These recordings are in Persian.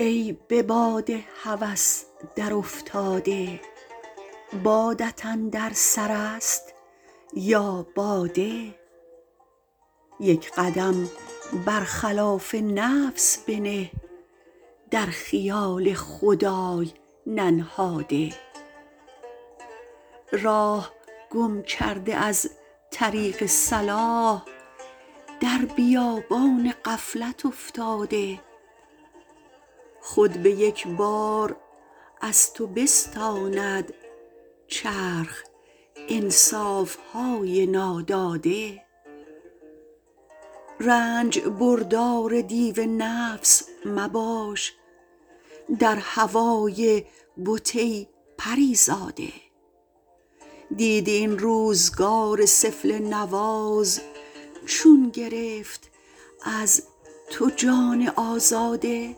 ای به باد هوس در افتاده بادت اندر سر است یا باده یک قدم بر خلاف نفس بنه در خیال خدای ننهاده راه گم کرده از طریق صلاح در بیابان غفلت افتاده خود به یک بار از تو بستاند چرخ انصافهای ناداده رنج بردار دیو نفس مباش در هوای بت ای پریزاده دیدی این روزگار سفله نواز چون گرفت از تو جان آزاده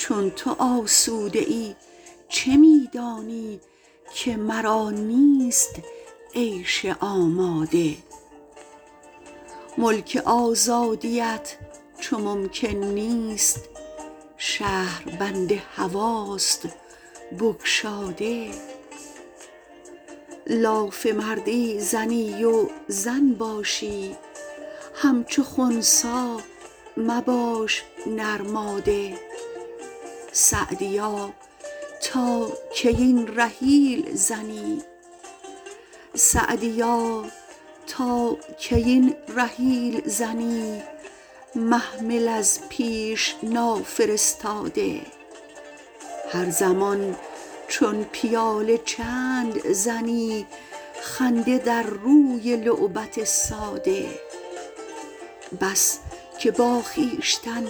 چون تو آسوده ای چه می دانی که مرا نیست عیش آماده ملک آزادیت چو ممکن نیست شهربند هواست بگشاده لاف مردی زنی و زن باشی همچو خنثی مباش نرماده سعدیا تا کی این رحیل زنی محمل از پیش نافرستاده هر زمان چون پیاله چند زنی خنده در روی لعبت ساده بس که با خویشتن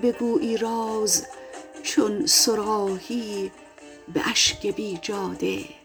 بگویی راز چون صراحی به اشک بیجاده